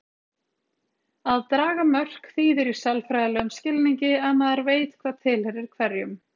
Að draga mörk þýðir í sálfræðilegum skilningi að maður veit hvað tilheyrir hverjum.